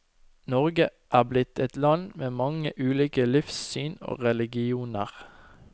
Norge er blitt et land med mange ulike livssyn og religioner.